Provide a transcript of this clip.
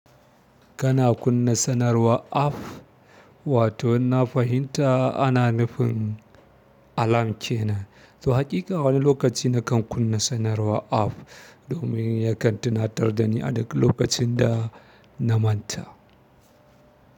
Kana kunna sanarwa app wato in na fahimta ana nufin alam cene. To haƙiƙa wani lokaci na kan kunna sanarwa app domin yakan tunatar da ni a duk lokacin da na manta.